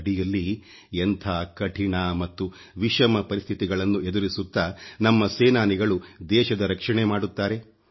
ಗಡಿಯಲ್ಲಿ ಎಂಥ ಕಠಿಣ ಮತ್ತು ವಿಷಮ ಪರಿಸ್ಥಿತಿಗಳನ್ನು ಎದುರಿಸುತ್ತಾ ನಮ್ಮ ಸೇನಾನಿಗಳು ದೇಶದ ರಕ್ಷಣೆ ಮಾಡುತ್ತಾರೆ